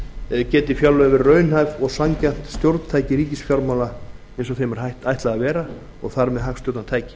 geti fjárlögin verið raunhæft og sanngjarnt stjórntæki ríkisfjármála eins og þeim er ætlað að vera og þar með hagstjórnartæki